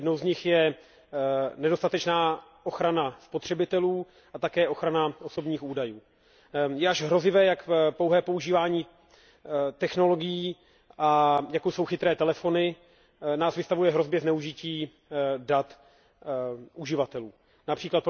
Jednou z nich je nedostatečná ochrana spotřebitelů a také ochrana osobních údajů. Je až hrozivé, jak pouhé používání technologií, jako jsou chytré telefony, nás vystavuje hrozbě zneužití dat uživatelů, např.